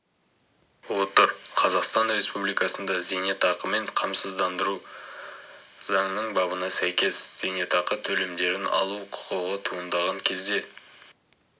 отыр қазақстан республикасында зейнетақымен қамсыздандыру туралы заңның бабына сәйкес зейнетақы төлемдерін алу құқығы туындаған кезде